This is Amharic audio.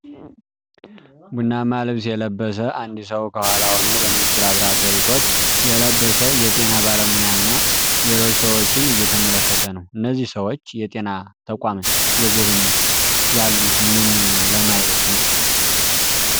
ቡናማ ልብስ የለበሰ አንድ ሰው ከኋላ ሆኖ በነጭ ላብራቶሪ ኮት የለበሰ የጤና ባለሙያና ሌሎች ሰዎችን እየተመለከተ ነው። እነዚህ ሰዎች የጤና ተቋምን እየጎበኙ ያሉት ምን ለማየት ነው?